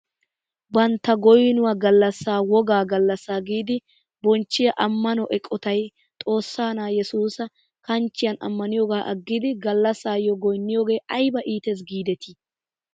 Bantta goynuwaa gallasaa woggaa gallassaa giidi bonchiyaa ammano eqotay xoossaa na'aa yesuusa kanchchiyaan ammaniyooga aggidi gallasaayo goyniyoogee ayba ites gidetii!